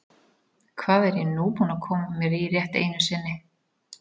Hvað er ég nú búinn að koma mér í rétt einu sinni?